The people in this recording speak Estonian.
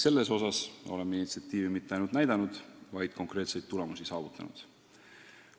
Selles osas oleme mitte ainult initsiatiivi üles näidanud, vaid ka konkreetseid tulemusi saavutanud.